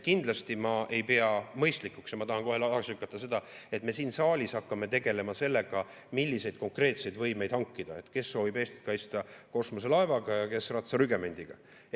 Kindlasti ma ei pea mõistlikuks ja ma tahan kohe tagasi lükata, et me siin saalis hakkame tegelema sellega, milliseid konkreetseid võimeid hankida: kes soovib Eestit kaitsta kosmoselaevaga ja kes ratsarügemendiga.